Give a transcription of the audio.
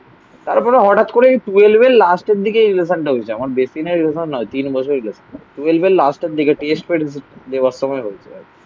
তারপরে হঠাৎ করে এই টুয়েল্ভ এর লাস্ট এর দিকে রিলেশানটা হয়েছে. আমার বেশি দিনের রিলেশান নয়. তিন বছর. টুয়েল্ভ এর লাস্ট এর দিকে, টেস্ট এর দেবস্তম্ভয় বলতে পারবে.